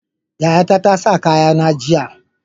Yayata tasa kaya na jiya